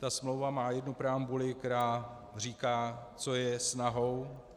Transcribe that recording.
Ta smlouva má jednu preambuli, která říká, co je snahou.